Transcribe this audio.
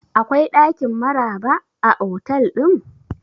Akwai ɗakin Maraba a otal ɗin?